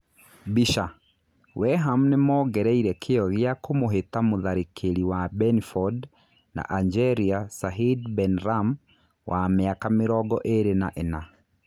(Mbica) Weham nĩ mongereire kĩyo gĩa kũmũhĩta mũtharĩkĩri wa Mbeniford na Anjeria Sahid Benram wa mĩaka mĩrongo ĩrĩ na ĩna